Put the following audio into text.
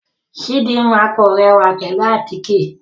Chidinma kò rẹwa pẹlu àtíke